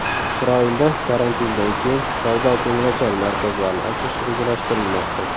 Isroilda karantindan keyin savdo-ko‘ngilochar markazlarni ochish rejalashtirilmoqda.